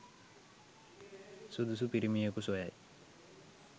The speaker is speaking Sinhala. සුදුසු පිරිමියෙකු සොයයි